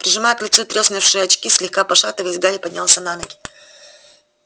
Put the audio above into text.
прижимая к лицу треснувшие очки слегка пошатываясь гарри поднялся на ноги